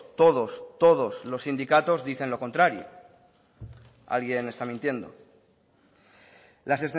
todos todos los sindicatos dicen lo contrario alguien está mintiendo las